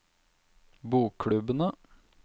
bokklubbene